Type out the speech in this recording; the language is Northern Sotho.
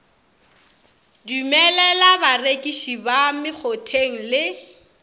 dumelela barekiši ba mekgotheng le